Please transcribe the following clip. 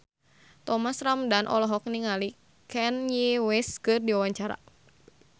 Thomas Ramdhan olohok ningali Kanye West keur diwawancara